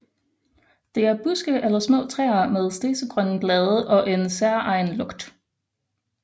Det er buske eller små træer med stedsegrønne blade og en særegen lugt